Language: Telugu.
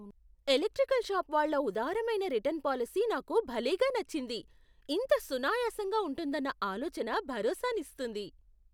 ఎలక్ట్రికల్ షాపు వాళ్ళ ఉదారమైన రిటర్న్ పాలసీ నాకు భలేగా నచ్చింది, ఇంత సునాయాసంగా ఉంటుదన్న ఆలోచన భరోసానిస్తుంది.